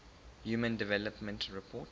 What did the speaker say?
human development report